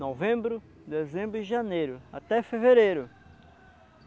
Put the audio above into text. Novembro, dezembro e janeiro, até fevereiro.